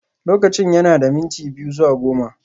Lokacin yana da minti biyu zuwa goma